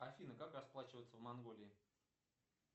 афина как расплачиваться в монголии